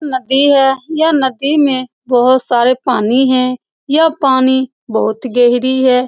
नदी है यह नदी में बहुत सारा पानी है यह पानी बहुत गहरी है।